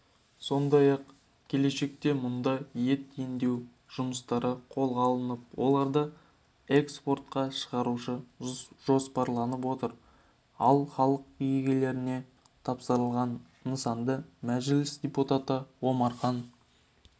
сондай-ақ келешекте мұнда ет өңдеу жұмыстары қолға алынып оларды эскпортқа шығару жоспарланып отыр ал халық игілігіне тапсырылған нысанды мәжіліс депутаты омархан